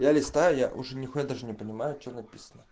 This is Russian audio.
я листаю я уже нихуя даже не понимаю что написано